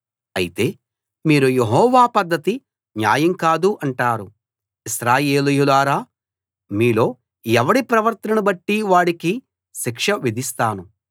అయితే మీరు యెహోవా పద్ధతి న్యాయం కాదు అంటారు ఇశ్రాయేలీయులారా మీలో ఎవడి ప్రవర్తననుబట్టి వాడికి శిక్ష విధిస్తాను